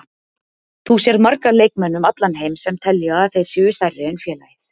Þú sérð marga leikmenn um allan heim sem telja að þeir séu stærri en félagið.